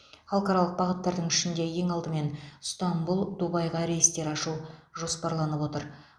халықаралық бағыттардың ішінде ең алдымен ыстанбұл дубайға рейстер ашу жоспарланып отыр